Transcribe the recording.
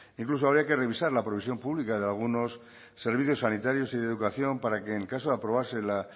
incluso habría que revisar la provisión pública de algunos servicios sanitarios y de educación para que en caso de aprobarse la